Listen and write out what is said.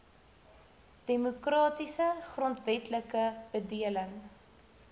demokratiese grondwetlike bedeling